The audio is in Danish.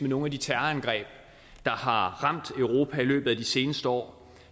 nogle af de terrorangreb der har ramt europa i løbet af de seneste år